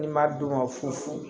Ni n m'a d'u ma fufu